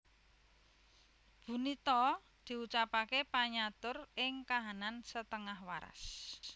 Bunito diucapaké panyatur ing kahanan setengah waras